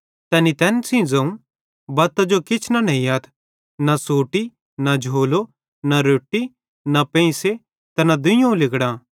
तैनी तैन सेइं ज़ोवं बत्तां जो किछ न नेइयथ न सोटी न झोलो न रोट्टी न पेंइसे ते न दुइयोवं लिगड़ां